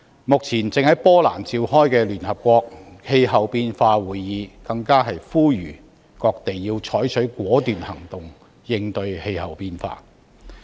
目前正在波蘭召開的聯合國氣候變化會議，更呼籲各地要採取果斷行動應對氣候變化。